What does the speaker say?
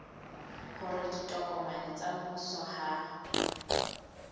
hore ditokomane tsa mmuso ha